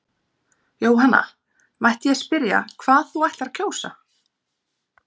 Jóhanna: Mætti ég spyrja hvað þú ætlar að kjósa?